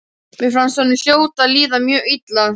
Mér fannst honum hljóta að líða mjög illa.